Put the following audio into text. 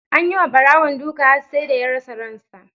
Anyi ma Barawon duka har sai da ya rasa ransa.